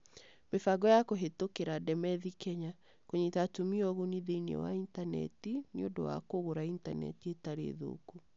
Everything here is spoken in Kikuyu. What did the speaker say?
Mĩbango ya Kũhĩtũkĩra Ndemethi Kenya. Kũnyita Atumia Ũguni Thĩinĩ wa Intaneti nĩ ũndũ wa Kũgũra Intaneti Ĩtarĩ Thũku